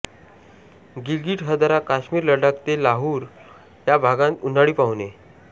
गिलगिट हजारा काश्मीर लडाख ते लाहुल या भागांत उन्हाळी पाहुणे